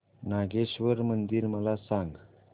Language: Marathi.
नागेश्वर मंदिर मला सांग